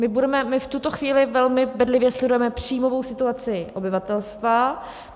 My v tuto chvíli velmi bedlivě sledujeme příjmovou situaci obyvatelstva.